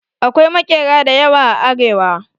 Akwai maƙera da yawa a arewa.